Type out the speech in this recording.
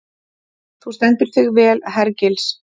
Þú stendur þig vel, Hergils!